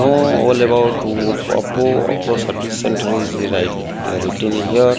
no all about oppo oppo service center is write written here.